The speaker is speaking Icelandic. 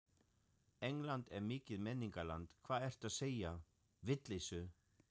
England er mikið menningarland, hvað ertu að segja, vitleysu.